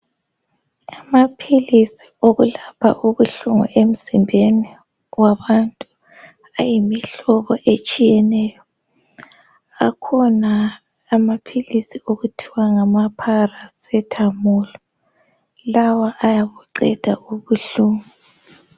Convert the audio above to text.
Amaphilisi okulapha ubuhlungu emzimbeni yabantu ayimihlobo etshiyeneyo akhona amaphilisi okuthiwa ngama paracetamol lawa ayabuqeda ubuhlungu.